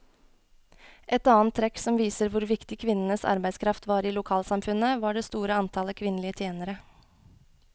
Et annet trekk som viser hvor viktig kvinnenes arbeidskraft var i lokalsamfunnet, var det store antallet kvinnelige tjenere.